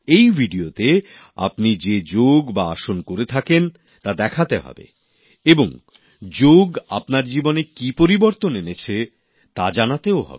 এই ভিডিওতে আপনি যে যোগ বা আসন করে থাকেন তা করে দেখাতে হবে এবং যোগ আপনার জীবনে কি পরিবর্তন এনেছে তা জানাতেও হবে